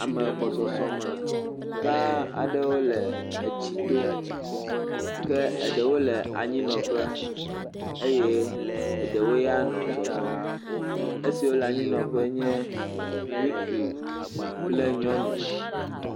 Ame gbɔsoso me gã aɖe wole etsi to ke ɖewo le anyinɔƒe eye ɖewo ya nɔ zɔzɔm. Esiwo le anyinɔƒe nye ŋutsu kple nyɔnu.